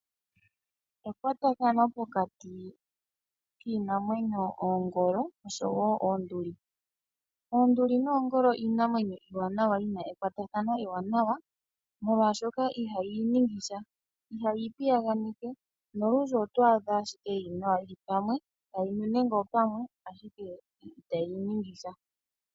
Ekwatathano pokati kiinamwenyo, oongolo osho wo oonduli. Oonduli noongolo iinamwenyo iiwanawa yi na ekwatathano ewanawa, molwaashoka ihayi i ningi sha, ihayi i piyaganeke nolundji oto adha ashike yi li nawa yi li pamwe tayi li nenge opamwe ashike itayi i ningi sha.